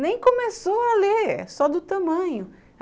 Nem começou a ler, só do tamanho.